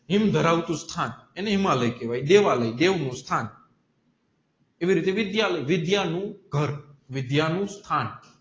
હિમ ધરાવતું સ્થાન એને હિમાલયા કેહવાય દેવાલય દેવ નુ સ્થાન એવી રીતે વિદ્યાલય વિદ્યા નું ઘર વિદ્યા નુ સ્થાન